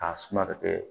K'a suma ka kɛ